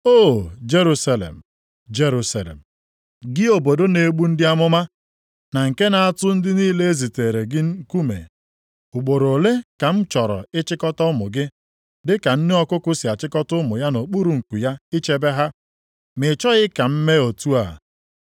“O Jerusalem, Jerusalem! Gị obodo na-egbu ndị amụma, na nke na-atụ ndị niile e ziteere gị nkume. Ugboro ole ka m chọrọ ịchịkọta ụmụ gị dị ka nne ọkụkụ si achịkọta ụmụ ya nʼokpuru nku ya ichebe ha? Ma ị chọghị ka m mee otu a!